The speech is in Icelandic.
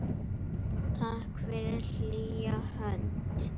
Takk fyrir hlýja hönd.